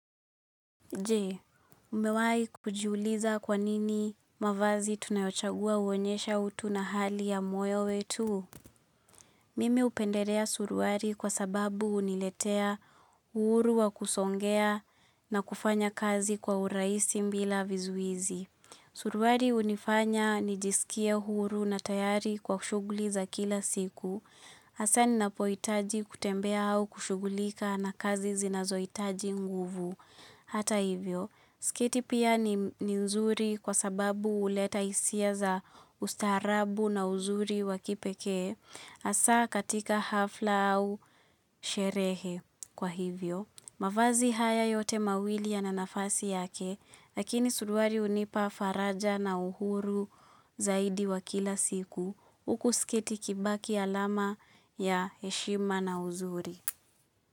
Je? Umewahi kujiuliza kwa nini mavazi tunayochagua uonyesha utu na hali ya moyo wetu? Mimi upendelea suruali kwa sababu uniletea uhuru wa kusogea na kufanya kazi kwa uraisi bila vizuizi. Suruali unifanya nijiskie huru na tayari kwa shuguli za kila siku. Hasa ninapohitaji kutembea au kushugulika na kazi zinazohitaji nguvu. Hata hivyo, sketi pia ni nzuri kwa sababu huleta hisia za ustaharabu na uzuri wakipekee, hasa katika hafla au sherehe kwa hivyo. Mavazi haya yote mawili yana nafasi yake, lakini suruali hunipa faraja na uhuru zaidi wa kila siku, huku sketi kibaki alama ya heshima na uzuri.